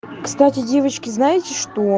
кстати девочки знаете что